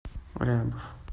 рябов